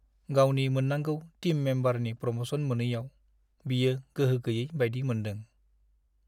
गावनि मोन्नांगौ टिम मेम्बारनि प्रम'सन मोनैयाव बियो गोहो गैयै बायदि मोन्दों।